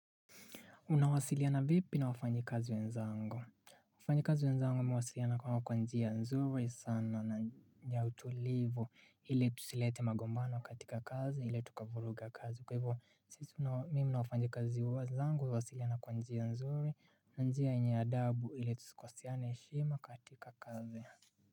Unawasiliana vipi na wafanyikazi wenzangu? Wafanjikazi wenzangu mimi huwasiliana nao kwa kwa njia nzuri sana na njia utulivu ili tusilete magombano katika kazi ili tukavuruga kazi. Kwa hivyo sisi mimi na wafanyikazi wenzangu huwasiliana kwa njia nzuri na njia yenye adabu ili tusikoseane heshima katika kazi.